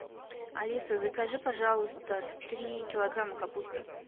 алиса закажи пожалуйста три килограмма капусты